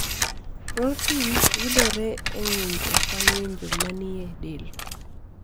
Protin yodore e ng'injo ka ng'injo ma ni e del